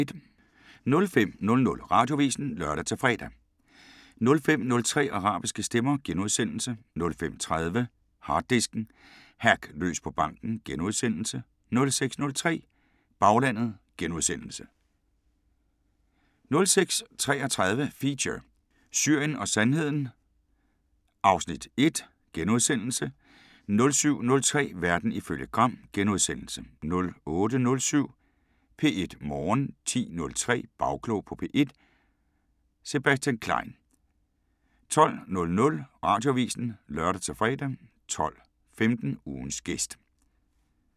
05:00: Radioavisen (lør-fre) 05:03: Arabiske Stemmer * 05:30: Harddisken: Hack løs på banken * 06:03: Baglandet * 06:33: Feature: Syrien og Sandheden (Afs. 1)* 07:03: Verden ifølge Gram * 08:07: P1 Morgen 10:03: Bagklog på P1: Sebastian Klein 12:00: Radioavisen (lør-fre) 12:15: Ugens gæst